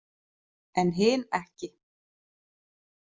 En hin ekki.